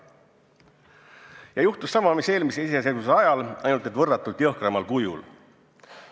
Ja juhtus sama, mis eelmise iseseisvuse ajal, ainult et võrratult jõhkramal kujul.